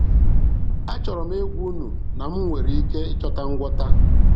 Achọrọ m ịgwa unu na m nwere ike ịchọta ngwọta.